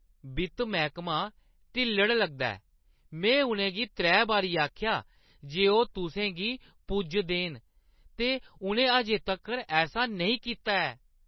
वित्त मैह्कमा ढिल्लड़ लगदा ऐ। में उʼनें गी त्रै बारी आखेआ जे ओह् तुसें गी पुज्ज देन ते उʼनें अजें तक्कर ऐसा नेईं कीता ऐ।